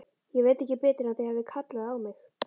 Ég veit ekki betur en þið hafið kallað á mig.